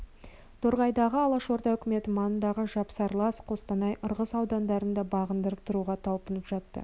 торғайдағы алашорда үкіметі маңындағы жапсарлас қостанай ырғыз аудандарын да бағындырып тұруға талпынып жатты